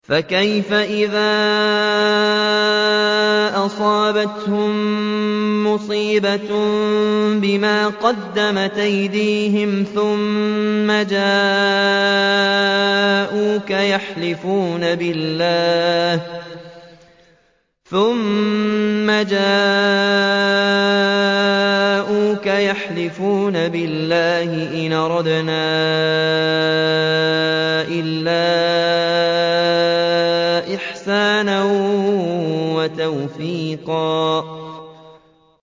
فَكَيْفَ إِذَا أَصَابَتْهُم مُّصِيبَةٌ بِمَا قَدَّمَتْ أَيْدِيهِمْ ثُمَّ جَاءُوكَ يَحْلِفُونَ بِاللَّهِ إِنْ أَرَدْنَا إِلَّا إِحْسَانًا وَتَوْفِيقًا